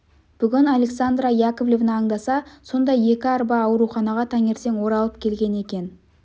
бүгін александра яковлевна аңдаса сондай екі арба ауруханаға таңертең оралып келген екен